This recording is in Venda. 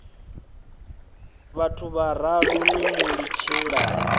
vhaṋu vhararu ni mu litshelani